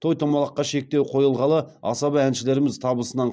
той томалаққа шектеу қойылғалы асаба әншілеріміз табысынан